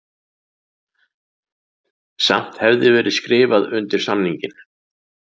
Samt hefði verið skrifað undir samninginn